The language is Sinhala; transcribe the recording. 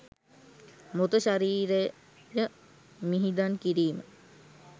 මෘත ශරීරය මිහිදන් කිරීම